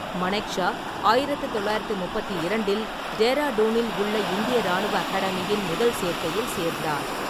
மனெக்ஷா ஆயிரத்து தொள்ளாயிரத்து முப்பத்தி இரண்டில் டேராடூனில் உள்ள இந்திய இராணுவ அகாடமியின் முதல் சேர்க்கையில் சேர்ந்தார்.